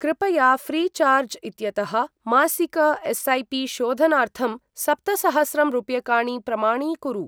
कृपया फ्रीचार्ज् इत्यतः मासिक एस्.ऐ.पि.शोधनार्थं सप्तसहस्रं रूप्यकाणि प्रमाणीकुरु।